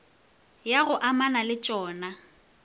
ya go amana le tšona